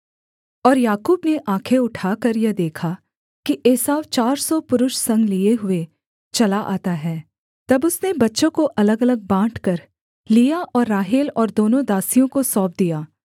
और याकूब ने आँखें उठाकर यह देखा कि एसाव चार सौ पुरुष संग लिये हुए चला आता है तब उसने बच्चों को अलगअलग बाँटकर लिआ और राहेल और दोनों दासियों को सौंप दिया